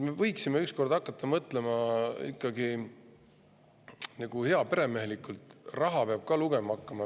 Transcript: Me võiksime üks kord hakata mõtlema ikkagi nagu heaperemehelikult, raha peab ka lugema hakkama.